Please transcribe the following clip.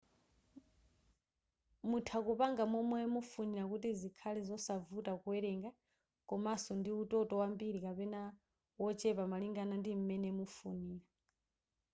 mutha kupanga momwe mufunira kuti zikhale zosavuta kuwerenga komaso ndi utoto wambiri kapena wochepa malingana ndim'mene mufunira